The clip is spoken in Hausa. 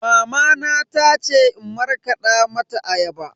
Mamana ta ce in markada mata ayaba.